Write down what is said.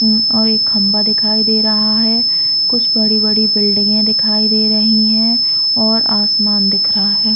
और एक खम्बा दिखाई दे रहा है कुछ बड़ी-बड़ी बिल्डिंगे दिखाई दे रही है और आसमान दिख रहा हैं ।